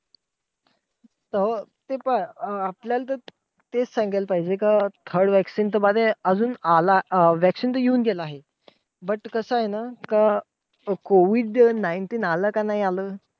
अं ते पण अं ते आपल्याला तर तेच सांगायला पाहिजे का, third vaccine तर बारे अजून आला अं vaccine तर अजून येऊन गेला आहे. but कसंय ना, का COVID nineteen आलं का नाही आलं.